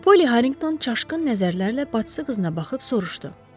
Poly Harrington çaşqın nəzərlərlə bacısı qızına baxıb soruşdu: